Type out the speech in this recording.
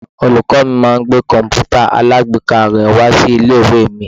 Olùkọ́ mi máa ń gbé komputa alagbeeka rè wá sí ilé-ìwé mi.